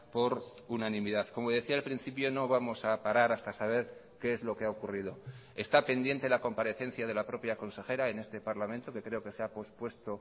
por unanimidad como decía al principio no vamos a parar hasta saber qué es lo que ha ocurrido está pendiente la comparecencia de la propia consejera en este parlamento que creo que se ha pospuesto